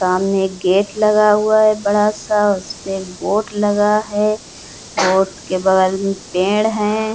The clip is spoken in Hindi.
सामने एक गेट लगा हुआ है बड़ा-सा। उस पे एक बोर्ड लगा है। बोर्ड के बगल में पेड़ है।